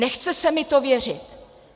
Nechce se mi to věřit."